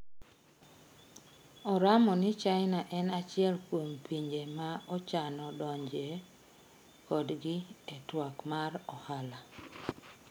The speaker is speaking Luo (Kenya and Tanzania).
Oramo ni China en achiel kuom pinje ma ochano donjie kodgi e twak mar ohala.